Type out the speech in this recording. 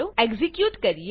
execute કરીએ